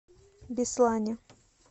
беслане